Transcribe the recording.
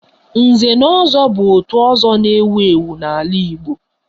Nze na ozo bu òtù ọzọ na-ewu ewu n'ala Igbo